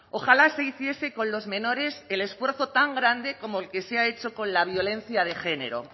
ojalá se hiciese con los menores el esfuerzo tan grande como el que se ha hecho con la violencia de género